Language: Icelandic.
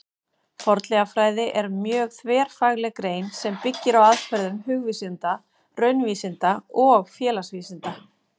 Fornleifafræði er mjög þverfagleg grein sem byggir á aðferðum hugvísinda, raunvísinda og félagsvísinda.